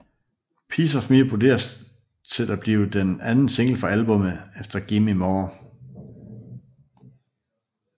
Piece Of Me vurderes at blive den anden single fra albummet efter Gimme More